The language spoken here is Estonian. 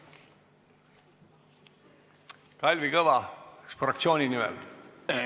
Kalvi Kõva, kas fraktsiooni nimel?